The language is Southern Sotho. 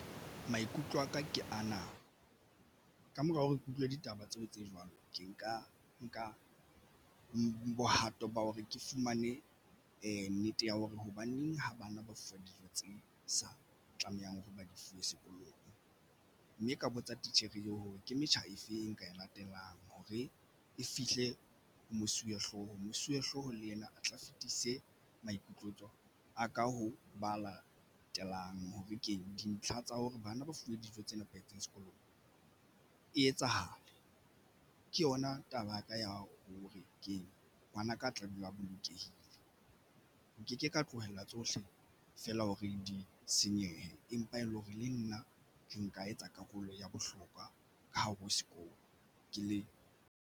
Maikutlo aka ke ana ka mora hore ke utlwe ditaba tseo tse jwalo. Ke nka nka bohato ba hore ke fumane nnete ya hore hobaneng ha bana ba fuwa dijo tse sa tlamehang hore ba di fuwe sekolong, mme ka botsa titjhere eo hore ke metjha efeng e nka e latelang hore e fihle mosuwehlooho. Mosuwehlooho le yena a tla fetise maikutlo a ka ho ba latelang hore ke dintlha tsa hore bana ba fuwe dijo tse nepahetseng sekolong e etsahale ke yona taba ya ka ya ho re ke ngwanaka a tla ba bolokehile. Nkeke ka tlohella tsohle fela ho re di senyehe empa e leng hore le nna ke nka etsa karolo ya bohlokwa ka hare ho sekolo ke le.